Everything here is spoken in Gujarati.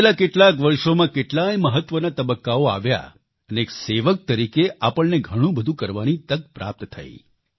વિતેલા કેટલાક વર્ષોમાં કેટલાય મહત્વના તબક્કાઓ આવ્યા અને એક સેવક તરીકે આપણને ઘણું બધું કરવાની તક પ્રાપ્ત થઈ